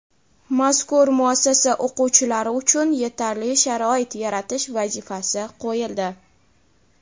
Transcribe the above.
Mazkur muassasa o‘quvchilari uchun yetarli sharoit yaratish vazifasi qo‘yildi.